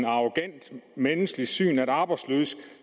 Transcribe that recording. arrogant menneskesyn at arbejdsløse